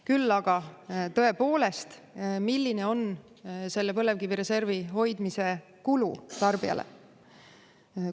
Küll aga, tõepoolest, milline on selle põlevkivireservi hoidmise kulu tarbijale?